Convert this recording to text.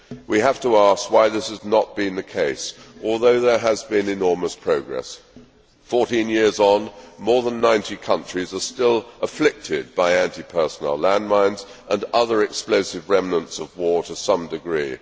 We have to ask why this has not been the case although there has been enormous progress. Fourteen years on, more than 90 countries are still afflicted by anti personnel landmines and other explosive remnants of war to some degree.